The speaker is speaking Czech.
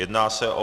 Jedná se o